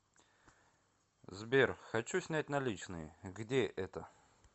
сбер хочу снять наличные где это